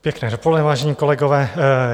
Pěkné dopoledne, vážení kolegové.